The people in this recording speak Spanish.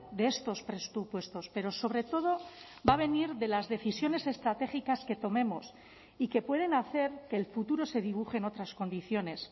de estos presupuestos pero sobre todo va a venir de las decisiones estratégicas que tomemos y que pueden hacer que el futuro se dibuje en otras condiciones